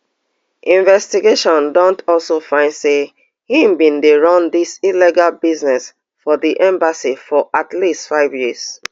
investigations don also find say im bin dey run dis illegal business for di embassy for at least five years